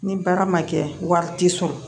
Ni baara ma kɛ wari ti sɔrɔ